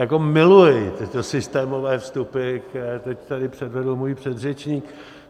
Jako miluji tyto systémové vstupy, které teď tady předvedl můj předřečník.